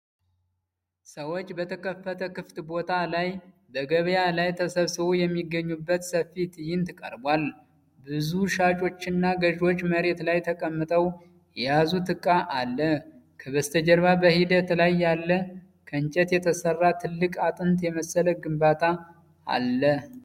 ሰዎች በተከፈተ ክፍት ቦታ ላይ በገበያ ላይ ተሰብስበው የሚገኙበት ሰፊ ትዕይንት ቀርቧል። ብዙ ሻጮችና ገዢዎች መሬት ላይ ተቀምጠው የያዙት እቃ አለ። ከበስተጀርባ በሂደት ላይ ያለ ከእንጨት የተሰራ ትልቅ አጥንት የመሰለ ግንባታ አለ።